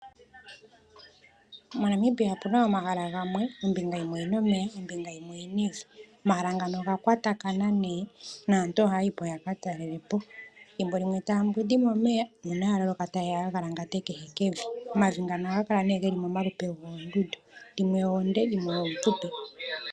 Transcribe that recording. MoNamibia opu na omahala gamwe ombinga yimwe na omeya ombinga onkwawo oyi na evi. Omahala ngaka oga kwatathana, naantu ohaa yi ko ya ka talele po. Thimbo limwe taayi momeya nuuna ya loloka taye ya okugalangata kehekevi. Omavi ngano ohaga kala ge li momalupe goondundu dhimwe oonde dhimwe oofupi.